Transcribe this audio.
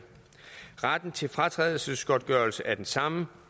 retten til fratrædelsesgodtgørelse er den samme